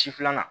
Si filanan